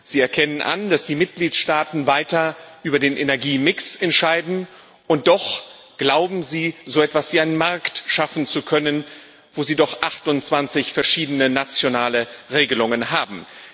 Sie erkennen an, dass die Mitgliedstaaten weiter über den Energiemix entscheiden, und doch glauben Sie, so etwas wie einen Markt schaffen zu können, wo Sie doch 28 verschiedene nationale Regelungen haben.